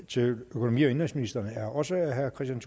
til økonomi og indenrigsministeren er også af herre kristian